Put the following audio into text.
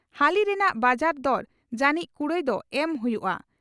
ᱦᱟᱹᱞᱤ ᱨᱮᱱᱟᱜ ᱵᱟᱡᱟᱨ ᱫᱚᱨ ᱡᱟᱹᱱᱤᱡ ᱠᱩᱲᱟᱹᱭ ᱫᱚ ᱮᱢ ᱦᱩᱭᱩᱜᱼᱟ ᱾